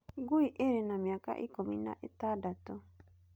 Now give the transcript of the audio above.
Ngui ĩrĩ na mĩaka ikũmi na ĩtandatũ.